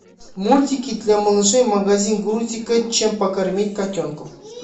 мультики для малышей магазин грузика чем покормить котенка